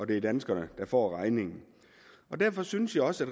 det danskerne der får regningen derfor synes jeg også